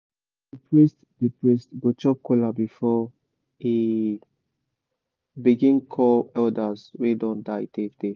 the priest the priest go chop kola before e begin call elders wey don die tey tey